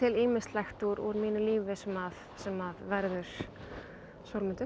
ýmislegt úr mínu lífi sem sem verður